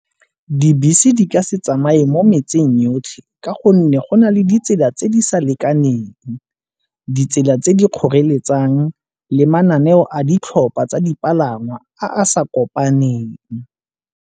Dibese di ka se tsamaye mo metseng yotlhe ka gonne go na le ditsela tse di sa lekaneng, ditsela tse di kgoreletsang le mananeo a ditlhopha tsa dipalangwa a sa kopaneng.